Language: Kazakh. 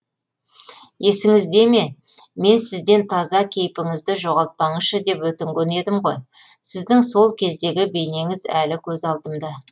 есіңізде ме мен сізден таза кейпіңізді жоғалтпаңызшы деп өтінген едім ғой сіздің сол кездегі бейнеңіз әлі көз алдымда